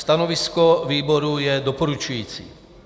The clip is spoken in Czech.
Stanovisko výboru je doporučující.